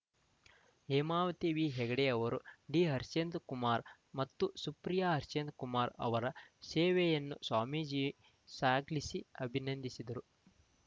Hemavathi V ಹೆಗ್ಗಡೆಯವರು D Harshendra Kumar ಮತ್ತು ಸುಪ್ರಿಯಾ ಹರ್ಷೇಂದ್ರ ಕುಮಾರ್ ಅವರ ಸೇವೆಯನ್ನು ಸ್ವಾಮೀಜಿ ಶ್ಲಾಘಿಸಿ ಅಭಿನಂದಿಸಿದರು